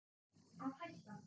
Að hætta?